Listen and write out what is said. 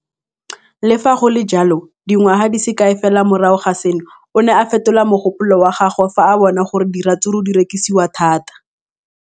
Le fa go le jalo, dingwaga di se kae fela morago ga seno, o ne a fetola mogopolo wa gagwe fa a bona gore diratsuru di rekisiwa thata.